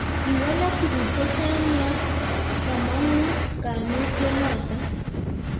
kiwalaka tuguk chechang' ya komong'u kaimutiet noto